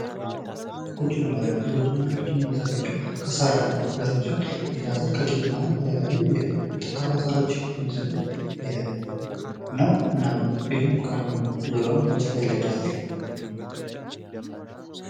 የጎጆ መኖሪያ ቤት የጐጆ መኖሪያ ቤት የሚዘጋጀው ከሣር ዘሮች ሲሆን ከሠር ዘር የቄጤማና የተለያዩ ጠንካራ ሳሮች ነው እና ይህም ዙሪያውን በጭቃ ይለደሳል።